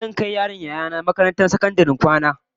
Zan kai yaron Yaya nah makarantar sakandaren kwana